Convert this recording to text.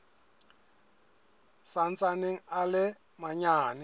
sa ntsaneng a le manyane